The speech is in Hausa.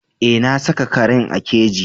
Eh na saka karen a keji.